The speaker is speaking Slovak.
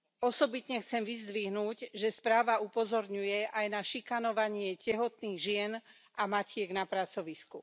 Osobitne chcem vyzdvihnúť, že správa upozorňuje aj na šikanovanie tehotných žien a matiek na pracovisku.